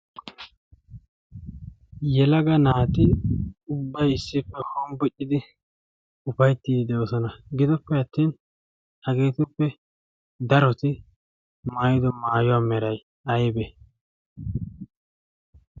yelaga naati ubbai issippe hombbiccidi ufaittii de7osana gidoppe attin hageetippe daroti maayido maayuwaa merai aibee